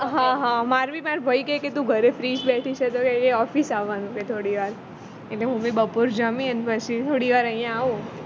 હ હ મારે બી મારે ભૈ કે કે તું ઘરે free જ બેઠી છે તો અહીં office આવવાનું થોડી વાર એટલે હું બી બપોરે જમીને પછી થોડીવાર અહીંયા આવું